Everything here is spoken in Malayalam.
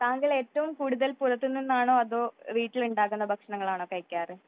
താങ്ങൾ ഏറ്റവും കൂടുതൽ പുറത്തു നിന്നാണോ അതോ വീട്ടിൽ ഉണ്ടാകുന്ന ഭക്ഷണവുമാണോ കഴിക്കാറ്